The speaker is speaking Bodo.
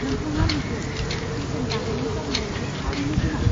नोंथाङा नुगोन, बेसेन बांनायनि जाहोनाव बेयो थारैनो गोनां।